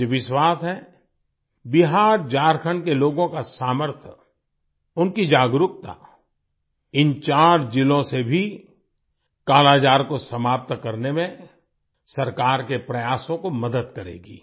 मुझे विश्वास है बिहारझारखंड के लोगों का सामर्थ्य उनकी जागरूकता इन चार जिलों से भी कालाजार को समाप्त करने में सरकार के प्रयासों को मदद करेगी